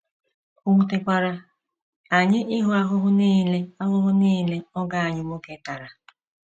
O wutekwara anyị ịhụ ahụhụ nile ahụhụ nile ọgọ anyị nwoke tara.